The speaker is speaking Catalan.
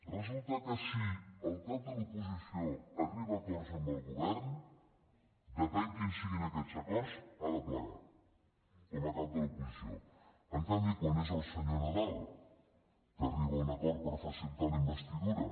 resulta que si el cap de l’oposició arriba a acords amb el govern depèn quins siguin aquests acords ha de plegar com a cap de l’oposició en canvi quan és el senyor nadal que arriba a un acord per facilitar la investidura